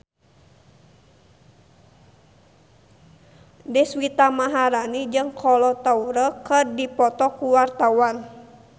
Deswita Maharani jeung Kolo Taure keur dipoto ku wartawan